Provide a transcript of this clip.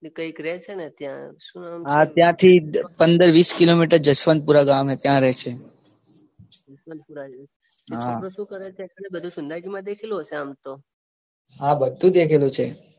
એ કઈંક રે છે ને ત્યાં શું નામ ત્યાંથી પંદર વીસ કિલોમીટર જસવંતપૂરા ગામે. ત્યાં રે છે. જસવંતપૂરા છોકરો શું કરે છે? એકચ્યુલી બધું સુંધામાતા દેખેલું હશે આમ તો હા બધું દેખેલું છે.